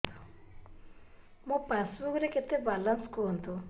ମୋ ପାସବୁକ୍ ରେ କେତେ ବାଲାନ୍ସ କୁହନ୍ତୁ